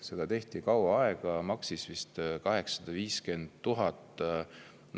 Seda tehti kaua aega, maksis vist 850 000 eurot.